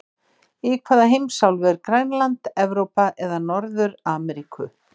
Í hvaða heimsálfu er Grænland, Evrópu eða Norður-Ameríku?